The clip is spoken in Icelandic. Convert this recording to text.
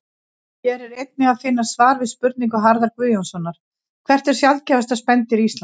Hér er einnig að finna svar við spurningu Harðar Guðjónssonar Hvert er sjaldgæfasta spendýr Íslands?